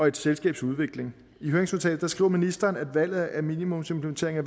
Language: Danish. et selskabs udvikling i høringsnotatet skriver ministeren at valget af minimumsimplementering er